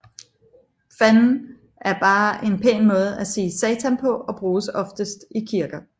Fanden er bare en pæn måde at sige satan på og bruges oftest i kirker